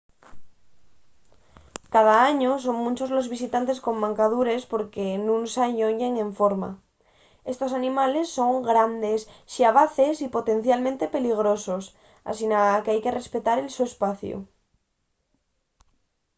cada añu son munchos los visitantes con mancadures porque nun s'alloñen enforma estos animales son grandes xabaces y potencialmente peligrosos asina qu'hai que respetar el so espaciu